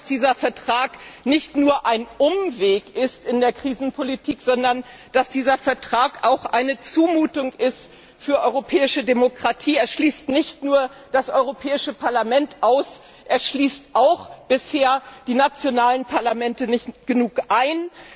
Wir glauben, dass dieser Vertrag nicht nur ein Umweg in der Krisenpolitik, sondern auch eine Zumutung für die europäische Demokratie ist. Er schließt nicht nur das Europäische Parlament aus, er schließt bisher auch die nationalen Parlamente nicht genug ein.